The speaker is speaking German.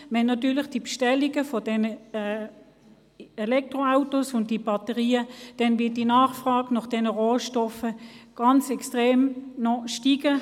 Wenn die Bestellungen solcher Elektroautos und Batterien zunehmen, wird die Nachfrage nach diesen Rohstoffen natürlich extrem steigen.